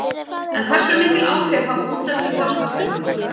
En hversu mikil áhrif hafa útlendingar á fasteignamarkaðinn?